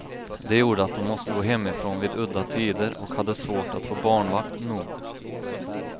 Det gjorde att hon måste gå hemifrån vid udda tider och hade svårt att få barnvakt nog.